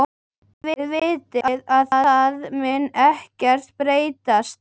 Þið vitið að það mun ekkert breytast.